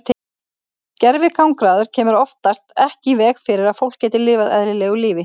Gervigangráður kemur oftast ekki í veg fyrir að fólk geti lifað eðlilegu lífi.